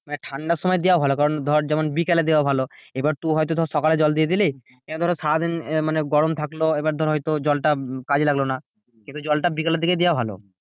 মানে ঠান্ডার সময় এ দেওয়া ভালো কারণ যেমন ধর বিকালে দেওয়া ভালো এই বার তু হয়তো ধরে সকালে জল দিয়ে দিলি দিয়ে হয়তো সারাদিন গরম থাকলো জলটা কাজে লাগে লাগলো না কিন্তু জলটা বিকালের দিকে দেওয়া ভালো।